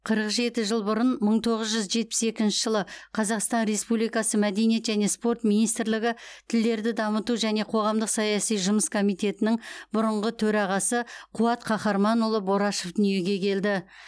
қырық жеті жыл бұрын мың тоғыз жүз жетпіс екінші жылы қазақстан республикасы мәдениет және спорт министрлігі тілдерді дамыту және қоғамдық саяси жұмыс комитетінің бұрынғы төрағасы қуат қаһарманұлы борашев дүниеге келді